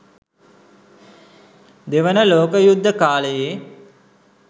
දෙවන ලෝක යුද්ධ කාලයේ